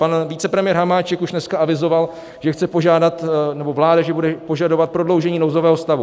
Pan vicepremiér Hamáček už dneska avizoval, že chce požádat, nebo vláda, že bude požadovat prodloužení nouzového stavu.